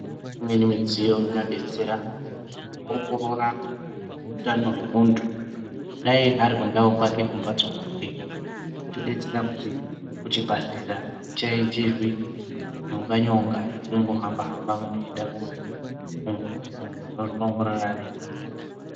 Imweni midziyo inobetsera kuongorora utano wemuntu dai ari kundau kwake kumbatso kwake unotibetsera kuti kucbibhadhlera akuchaenderwi nyonga nyonga yekumgohamba hamba mjntu eyiemda koongororwa muntu unozviongorora ari ega kumbatso kwake.